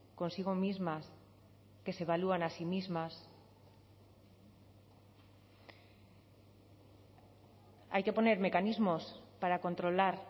consigo mismas que se evalúan a sí mismas hay que poner mecanismos para controlar